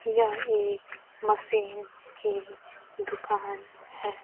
यह एक मशीन की दुकान हैं।